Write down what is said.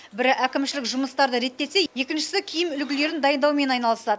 бірі әкімшілік жұмыстарды реттесе екіншісі киім үлгілерін дайындаумен айналысады